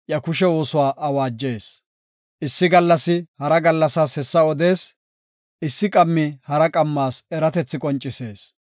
Issi gallasi hara gallassas hessa odees; issi qammi hara qammas eratethi qoncisees.